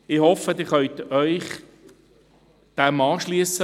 Ich hoffe, Sie können sich dem anschliessen.